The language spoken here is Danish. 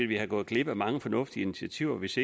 være gået glip af mange fornuftige initiativer hvis